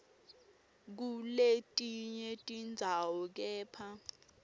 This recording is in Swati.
kuletinye tindzawo kepha